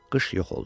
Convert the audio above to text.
Qış yox oldu.